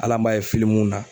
Hali an b'a ye na.